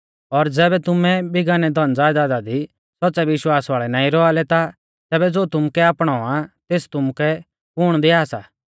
और ज़ैबै तुमै बिगानै धनज़यदादा दी सौच़्च़ै विश्वास वाल़ै नाईं रौआ लै ता तैबै ज़ो तुमुकै आपणौ आ तेस तुमुकै कुण दिआ सा